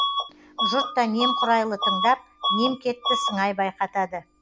жұрт та немқұрайлы тыңдап немкетті сыңай байқатады